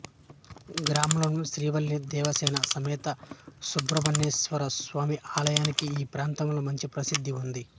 గ్రామంలోని శ్రీవల్లీ దేవసేన సమేత సుబ్రహ్మణ్యేశ్వరస్వామి ఆలయానికి ఈ ప్రాంతంలో మంచి ప్రసిద్ధి ఉంది